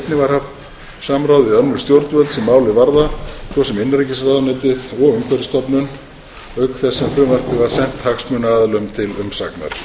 haft samráð við önnur stjórnvöld sem málið varða svo sem innanríkisráðuneytið og umhverfisstofnun auk þess sem frumvarpið var sent hagsmunaaðilum til umsagnar